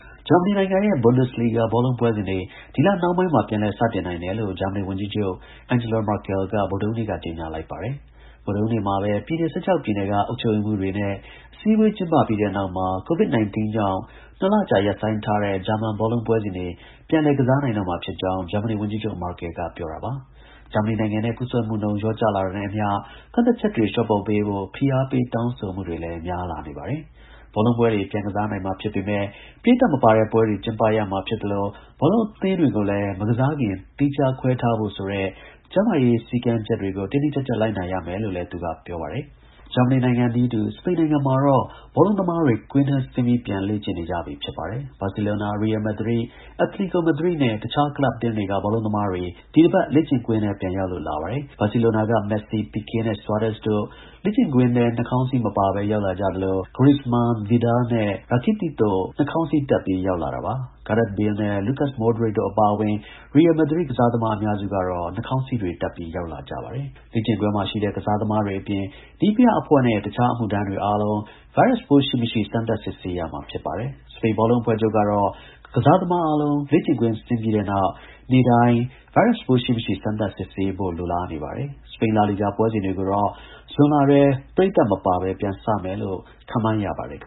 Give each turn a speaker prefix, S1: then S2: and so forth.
S1: ဂျာမနီနိုင်ငံရဲ့ Bundesliga ဘောလုံး ပွဲစဉ်တွေ ဒီလ နှောင်းပိုင်းမှာ ပြန်လည် စတင်နိုင်တယ်လို့ ဂျာမနီ ဝန်ကြီးချုပ် Angela Merkel က ဗုဒ္ဓဟူးနေ့က ကြေညာလိုက်ပါတယ်။ ဗုဒ္ဓဟူးနေ့မှာပဲ ပြည်နယ် ၁၆ ပြည်နယ်က အုပ်ချုပ်ရေးမှူးတွေနဲ့ အစည်းအဝေး ကျင်းပပြီးတဲ့နောက်မှာ Covid-19 ကြောင့်၂ လကြာ ရပ်ဆိုင်းထားတဲ့ ဂျာမန် ဘောလုံးပွဲစဉ်တွေ ပြန်လည် ကစားနိုင်တော့မှာဖြစ်ကြောင်း ဂျာမနီ ဝန်ကြီးချုပ် Merkel ပြောတာပါ။ ဂျာမနီနိုင်ငံမှာ ကူးစက်မှုနှုန်း လျော့ကျလာတာနဲ့အမျှ ကန့်သတ်ချက်တွေ လျှော့ပေါ့ပေးဖို့ ဖိအားပေး တောင်းဆိုမှုတွေ များလာနေတာလည်း ဖြစ်ပါတယ်။ ဘောလုံးပွဲတွေ ပြန်ကစားနိုင်မှာဖြစ်ပေမဲ့ ပရိသတ်မပါတဲ့ပွဲတွေ ကျင်းပရမှာ ဖြစ်သလို ဘောလုံးအသင်းတွေကိုလည်း မကစားခင် သီးခြား ခွဲထားဖို့ဆိုတဲ့ ကျန်းမာရေး စည်းကမ်းတွေကို တင်းတင်းကျပ်ကျပ် လိုက်နာရမယ်လို့လည်း သူက ပြောပါတယ်။ စပိန်နိုင်ငံမှာတော့ ဘောလုံးသမားတွေ ကွင်းထဲဆင်းပြီး ပြန်လေ့ကျင့်နေကြပြီ ဖြစ်ပါတယ်။ ဘာဆီလိုနာ၊ ရီရယ် မက်ဒရစ်၊ အက်တလီကို မက်ဒရစ်နဲ့ တခြား ကလပ်အသင်းတွေက ဘောလုံးသမားတွေ ဒီတစ်ပတ် လေ့ကျင့်ကွင်းထဲ ပြန်ရောက်လာပါတယ်။ ဘာဆီလိုနာက မက်ဆီ၊ ပီကေးနဲ့ ဆွာရက်စ်တို့ လေ့ကျင့်ကွင်းထဲ နှခေါင်းစည်း မပါဘဲ ရောက်လာကြသလို Griezmann ၊ Arturo Vidal နဲ့ Ivan Rakitic တို့ နှာခေါင်းစည်းတပ်ပြီး ရောက်လာတာပါ။ Gareth Bale နဲ့ Luka Moderic တို့အပါအဝင် ရီရယ် မက်ဒရစ်ကစားသမား အများစုကတော့ နှာခေါင်းစည်းတွေတပ်ပြီး ရောက်လာတာပါ။ လေ့ကျင်းကွင်းမှာရှိတဲ့ ကစားသမားတွေအပြင် နည်းပြအဖွဲ့နဲ့ တခြား အမှုထမ်းတွေအားလုံး ဗိုင်းရပ်ပိုး ရှိမရှိ စမ်းသပ် စစ်ဆေးရမှာ ဖြစ်ပါတယ်။ စပိန် ဘောလုံး အဖွဲ့ချုပ်ကတော့ ကစားသမားအားလုံး လေ့ကျင့်ကွင်း ဆင်းပြီတဲ့နောက် နေ့တိုင်း ဗိုင်းရပ်ပိုး ရှိမရှိ စမ်းသပ် စစ်ဆေးရဖို့ လိုလားနေပါတယ်။ စပိန် Laliga ပွဲစဉ်တွေကိုတော့ ဇွန်လထဲ ပရိသတ်မပါပဲ ပြန်စမယ်လို့ ခန့်မှန်းရပါတယ် ခင